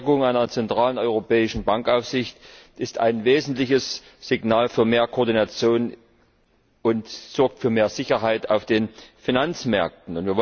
Die Stärkung einer zentralen europäischen Bankenaufsicht ist ein wesentliches Signal für mehr Koordination und sorgt für mehr Sicherheit auf den Finanzmärkten.